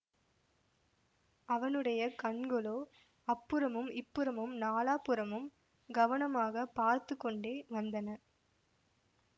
அவனுடைய கண்களோ அப்புறமும் இப்புறமும் நாலாபுறமும் கவனமாக பார்த்து கொண்டே வந்தன